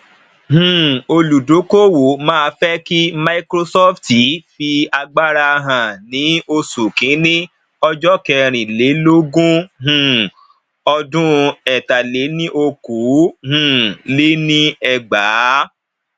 um olúdókòwò má fe ki microsofti fi agbára hàn ní oṣù kini ojo kerin lè lógún um ọdún ẹtaléníokòó um lé ní ẹgbàá